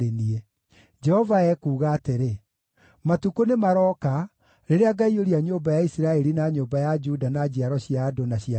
Jehova ekuuga atĩrĩ: “Matukũ nĩmarooka, rĩrĩa ngaiyũria nyũmba ya Isiraeli na nyũmba ya Juda na njiaro cia andũ na cia nyamũ.